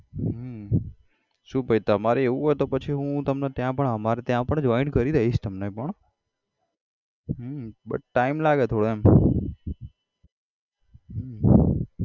હમ શુ ભાઈ તમારે એવું હોય તો પછી હું તમને ત્યાં પણ અમારા ત્યાં પણ join કરી દઈશ તમને પણ હમ but time લાગે થોડો એમ હમ